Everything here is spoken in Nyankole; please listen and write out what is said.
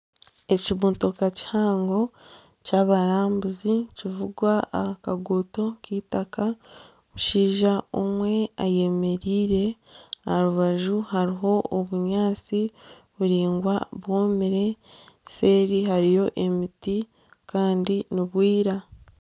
Ekimotoka kihango ky'abarambuzi nikivugwa aha kaguuto k'eitaaka, omushaija omwe eyemereire aha rubaju hariho obunyaatsi buraingwa bwomire seeri hariyo emiti kandi nibwira